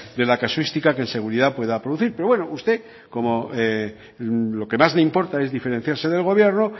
de la casuística que en seguridad pueda producir pero bueno como a usted lo que más le importante es diferenciarse del gobierno